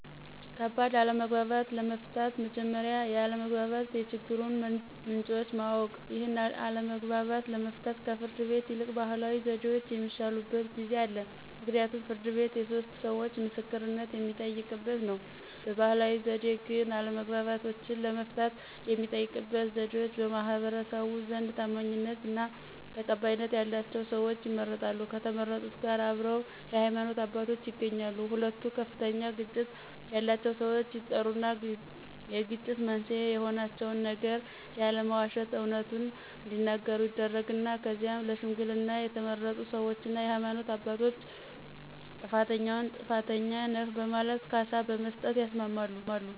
ከባድ አለመግባባቶችን ለመፍታት መጀመሪያ የአለመግባባት የችግሩን ምንጮችን ማወቅ። ይህን አለመግባባት ለመፍታት ከፍርድ ቤት ይልቅ ባህላዊ ዘዴዎች የሚሻሉበት ጊዜ አለ ምክንያቱም ፍርድ ቤት የሶስት ሰዎቾ ምስክርነት የሚጠየቅበት ነው። በባህላዊ ዘዴ ግን አለመግባባቶችን ለመፍታት የሚጠቀሙበት ዘዴዎች በማህበረሰቡ ዘንድ ታማኝነትና ተቀባይነት ያላቸው ሰዎች ይመረጣሉ ከተመረጡት ጋር አብረው የሃይማኖት አባቶች ይገኛሉ ሁለቱ ከፍተኛ ግጭት ያላቸው ሰዎች ይጠሩና የግጭት መንስኤ የሆናቸውን ነገር ያለመዋሸት አውነቱን እዲናገሩ ይደረግና ከዚያም ለሽምግልና የተመረጡ ሰዎችና የሃይማኖት አባቶች ጥፋተኛውን ጥፋተኛ ነህ በማለት ካሳ መስጠት ያስማማሉ።